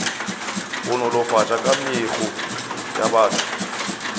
go nolofatša kamego ya batho